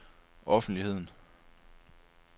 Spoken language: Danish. offentligheden